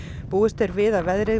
búist er við að veðrið